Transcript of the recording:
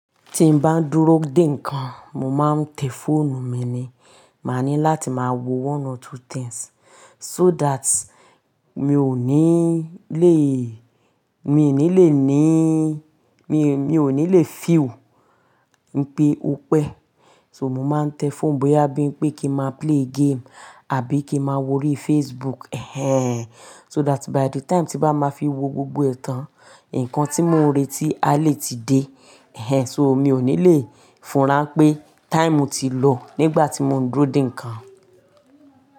Tí n bá ń dúró dè nǹkan, mo máa ń tẹ fóònù mi ni. Máa ní láti máa wo one or two things. So that mi ò ní lè, mi ò ní lè níí, mi, mi ò ní lè feel wipé ó pẹ́. So mo máa ń tẹ fóònù bóyá bí ń pé kí n máa play game àbí kí ma wó rí Facebook. Ehén. So that by the time tí bá máa fi wo gbogbo ẹ̀tàn, nǹkan tí mo ń retí a lè ti dé. Ehén. So mi ò ní lè fúnra pé time ti lò nígbà tí mo ń dúró dè nǹkan.